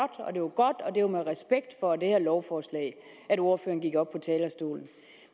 det og med respekt for det lovforslag at ordførerne gik op på talerstolen